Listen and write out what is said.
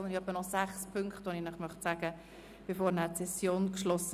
Ich möchte vor der Schliessung der Session noch etwa sechs Mitteilungen anbringen.